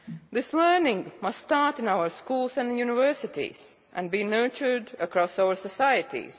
This learning must start in our schools and universities and be nurtured across our societies.